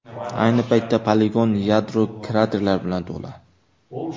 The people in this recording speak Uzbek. Ayni paytda poligon yadro kraterlari bilan to‘la.